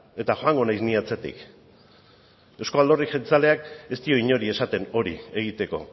eta joango naiz ni atzetik euzko alderdi jeltzaleak ez dio inori esaten hori egiteko